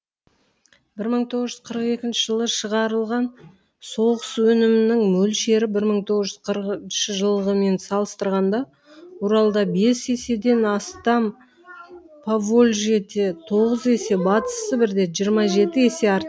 бір мың тоғыз жүз қырық екінші жылы шығарылған соғыс өнімінің мөлшері бір мың тоғыз жүз қырқыншы жылғымен салыстырғанда уралда бес еседен астам повольжьеде тоғыз есе батыс сібірде жиырма жеті есе артты